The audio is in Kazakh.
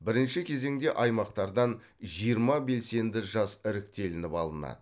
бірінші кезеңде аймақтардан жиырма белсенді жас іріктелініп алынады